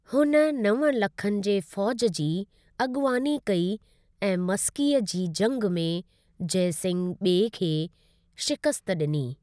हुन नव लखनि जे फ़ौज जी अॻुवानी कई ऐं मस्कीअ जी जंगि में जयसिंह ॿिए खे शिकस्त ॾिनी।